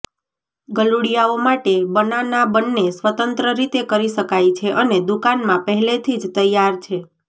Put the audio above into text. ગલુડિયાઓ માટે બનાના બંને સ્વતંત્ર રીતે કરી શકાય છે અને દુકાનમાં પહેલેથી જ તૈયાર છે